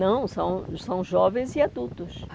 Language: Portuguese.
Não, são são jovens e adultos.